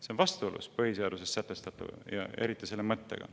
See on vastuolus põhiseaduses sätestatu ja eriti selle mõttega.